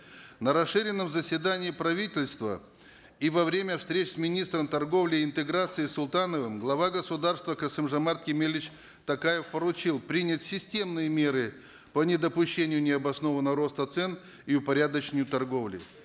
на расширенном заседании правительства и во время встреч с министром торговли и интеграции султановым глава государства касым жомарт кемелевич токаев поручил принять системные меры по недопущению необоснованного роста цен и упорядочению торговли